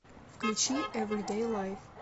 включи эвридэй лайф